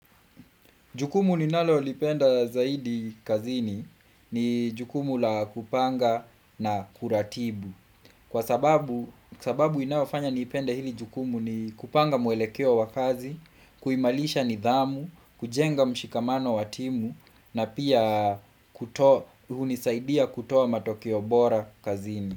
Jukumu ninalolipenda zaidi kazini ni jukumu la kupanga na kuratibu. Kwa sababu sababu inaofanya nipenda hili jukumu ni kupanga mwelekeo wa kazi, kuimalisha nidhamu, kujenga mshikamano wa timu na pia hunisaidia kutoa matokeo bora kazini.